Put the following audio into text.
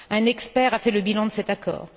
Un expert a fait le bilan de cet accord.